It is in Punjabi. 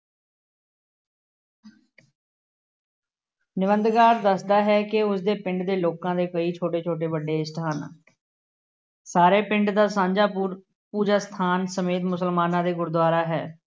ਨਿਬੰਧਕਾਰ ਦੱਸਦਾ ਹੈ ਕਿ ਉਸਦੇ ਪਿੰਡੇ ਦੇ ਲੋਕਾਂ ਦੇ ਕਈ ਛੋਟੇ ਛੋਟੇ ਵੱਡੇ ਈਸ਼ਟ ਹਨ। ਸਾਰੇ ਪਿੰਡ ਦਾ ਸਾਂਝਾ ਪੂਰ ਪੂਜਾ ਅਸਥਾਨ ਸਮੇਤ ਮੁਸਲਮਾਾਨਾਂ ਦੇ ਗੁਰਦੁਆਰਾ ਹੈ।